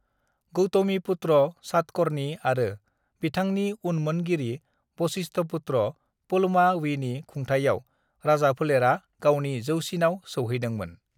गौतमीपुत्र सातकर्णी आरो बिथांनि उनमोनगिरि वशिष्ठपुत्र पुलमावीनि खुंथाइयाव राजाफोलेरा गावनि जौसिनाव सौहैदोंमोन।